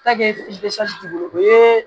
t'i bolo o ye